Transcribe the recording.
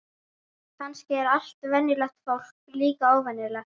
Kannski er allt venjulegt fólk líka óvenjulegt.